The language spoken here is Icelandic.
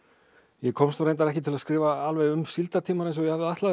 ég komst nú reyndar ekki til að skrifa alveg um síldartímann eins og ég hafði ætlað